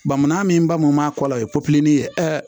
Bamanan min b'anw ma kɔ la o ye ye